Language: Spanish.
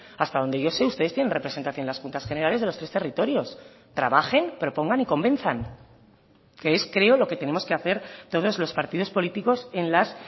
hasta donde yo sé ustedes tienen representación en las juntas generales de los tres territorios trabajen propongan y convenzan que es creo lo que tenemos que hacer todos los partidos políticos en las